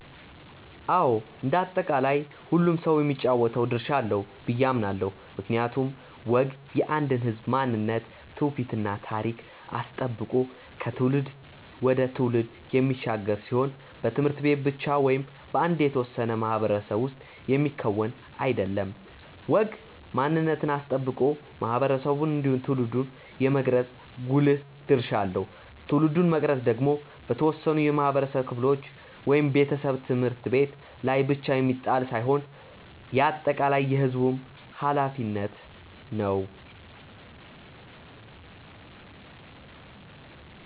አዎ እንደ አጠቃላይ ሁሉም ሰው የሚጫወተው ድርሻ አለው ብዬ አምናለው። ምክንያቱም ወግ የአንድን ህዝብ ማንነት ትውፊት እና ታሪክ አስጠብቆ ከትውልድ ወደ ትውልድ የሚሻገር ሲሆን በት/ቤት ብቻ ወይም በአንድ የተወሰነ ማህበረሰብ ውስጥ የሚከወን አይደለም። ወግ ማንነትን አስጠብቆ ማህበረሰብን እንዲሁም ትውልድን የመቅረጽ ጉልህ ድርሻ አለው። ትውልድን መቅረጽ ደግሞ በተወሰኑ የማህበረሰብ ክፍሎች (ቤተሰብ፣ ት/ቤት) ላይ ብቻ የሚጣል ሳይሆን የአጠቃላይ የህዝቡም ኃላፊነት ነው።